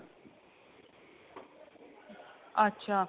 ਅੱਛਾ